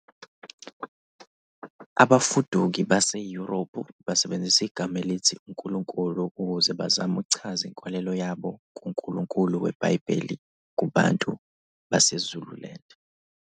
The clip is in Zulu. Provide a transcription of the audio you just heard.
Abafuduki baseYurophu basebenzisa igama elithi Unkulunkulu ukuze bazame ukuchaza inkolelo yabo kUNkulunkulu weBhayibheli kubantu baseZululand.